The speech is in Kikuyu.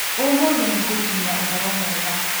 Ũmũthĩ nĩ ngũkinyĩa ũhoro mwega.